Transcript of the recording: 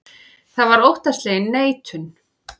Það var óttaslegin neitun.